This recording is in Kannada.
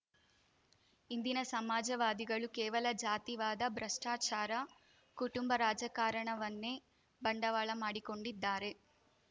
ಇಂದಿನ ಸಮಾಜವಾದಿಗಳು ಕೇವಲ ಜಾತಿವಾದ ಭ್ರಷ್ಟಾಚಾರ ಕುಟುಂಬ ರಾಜಕಾರಣವನ್ನೆ ಬಂಡವಾಳ ಮಾಡಿಕೊಂಡಿದ್ದಾರೆ